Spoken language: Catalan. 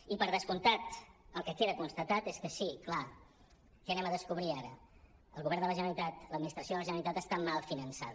i per descomptat el que queda constatat és que sí clar què descobrirem ara el govern de la generalitat l’admi·nistració de la generalitat està mal finançada